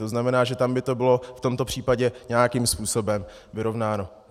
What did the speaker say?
To znamená, že tam by to bylo v tomto případě nějakým způsobem vyrovnáno.